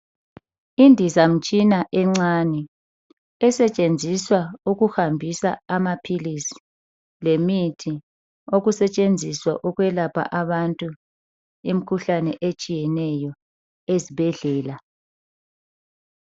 Indizamtshina encane esetshenziswa ukuhambisa amaphilisi lemithi okusetshenziswa ukwelapha abantu imikhuhlane etshiyeneyo ezibhedlela